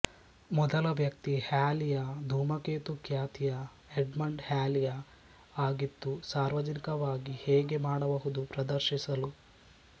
ಮೊದಲ ವ್ಯಕ್ತಿ ಹ್ಯಾಲಿಯ ಧೂಮಕೇತು ಖ್ಯಾತಿಯ ಎಡ್ಮಂಡ್ ಹ್ಯಾಲಿಯ ಆಗಿತ್ತು ಸಾರ್ವಜನಿಕವಾಗಿ ಹೇಗೆ ಈ ಮಾಡಬಹುದು ಪ್ರದರ್ಶಿಸಲು